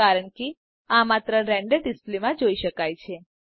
કારણ કે આ માત્ર રેન્ડર ડિસ્પ્લેમાં જોઈ શકાય છે